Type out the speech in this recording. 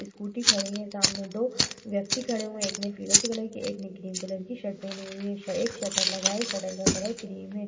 Scooty खड़ी हुई है। सामने दो व्यक्ति खड़े हुये हैं। एक ने फिरोजी कलर की एक ने क्रीम कलर की शर्ट पहनी हुई है। एक शटर लगा है। शटर का कलर क्रीम है।